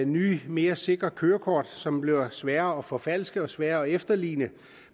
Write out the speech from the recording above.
nye mere sikre kørekort som bliver sværere at forfalske og sværere at efterligne